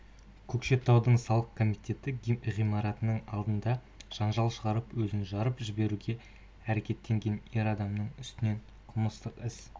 көкшетауда салық комитеті ғимаратының алдында жанжал шығарып өзін жарып жіберуге әрекеттенген ер адамның үстінен қылмыстық іс